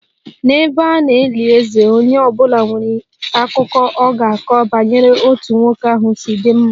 N'ebe a na-eli eze, onye ọ bụla nwere akụkọ ọ ga-akọ banyere otú nwoke ahụ si dị mma